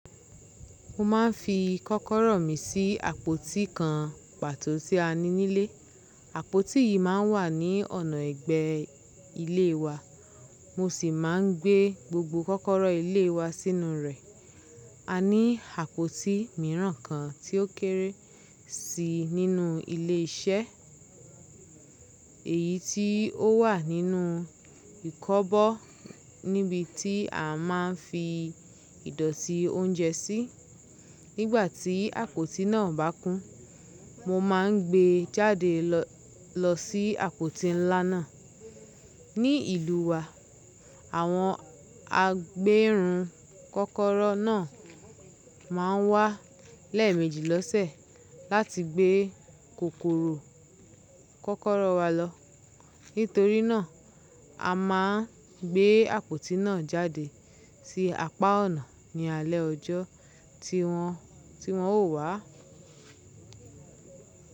Mo ma ń fi kọ́kọ́rọ́ mi sí àpótí kan pàtó tí a ní nílé. Àpótí yìí máa ń wà ní ọ̀nà ẹ̀gbẹ́ ilé wa, mo sì máa ń gbé gbogbo kọ́kọ́rọ́ ilé wa sínú rẹ̀. A ní àpótí mìíràn kan tí ó kéré sí nínú ilé iṣẹ́, èyí tí ó wà nínú ìkọ́bọ́, nibi tí a máa ń fi ìdọ̀tí oúnjẹ sí. Nígbà tí àpótí náà bá kún, mo máa ń gbé e jáde lọ sí àpótí ńlá náà. Ní ìlú wa, àwọn agbéèrun kọ́kọ́rọ́ náà máa ń wá lẹ́ẹ̀mẹjì lọ́sẹ̀ láti gbé kòkòrò kọ́kọ́rọ́ wa lọ. Nítorí náà, a máa ń gbé àpótí náà jáde sí apá ọ̀nà ní alẹ́ ọjọ́ tí wọ́n ó wá.